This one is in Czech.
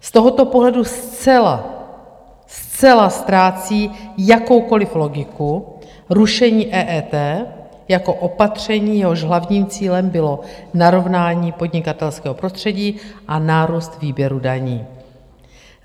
Z tohoto pohledu zcela, zcela ztrácí jakoukoliv logiku rušení EET jako opatření, jehož hlavním cílem bylo narovnání podnikatelského prostředí a nárůst výběru daní.